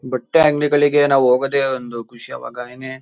ಬಟ್ಟೆ ಅಂಗಡಿಗಳಿಗೆ ನಾವು ಹೋಗೋದೇ ಒಂದು ಖುಷಿ ಅವಾಗ